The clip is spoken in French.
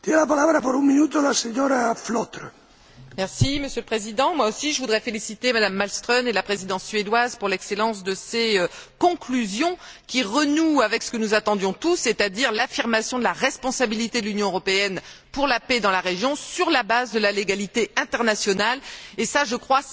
Monsieur le Président, je voudrais moi aussi féliciter M Malmström et la Présidence suédoise pour l'excellence de ses conclusions, qui renouent avec ce que nous attendions tous, c'est à dire l'affirmation de la responsabilité de l'Union européenne pour la paix dans la région, sur la base de la légalité internationale et ça, je crois, c'est essentiel. Cependant, je m'étonne qu'un an après